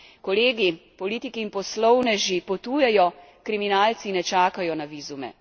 Kolegi, politiki, in poslovneži potujejo, kriminalci ne čakajo na vizume.